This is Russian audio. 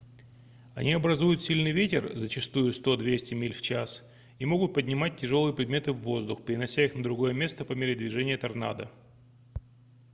они образуют сильный ветер зачастую 100–200 миль/час и могут поднимать тяжёлые предметы в воздух перенося их на другое место по мере движения торнадо